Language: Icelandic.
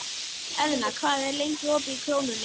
Eðna, hvað er lengi opið í Krónunni?